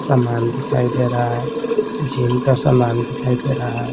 सामान दिखाई दे रहा है जीम का सामान दिखाई दे रहा है।